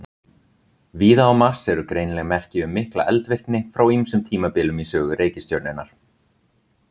Víða á Mars eru greinileg merki um mikla eldvirkni frá ýmsum tímabilum í sögu reikistjörnunnar.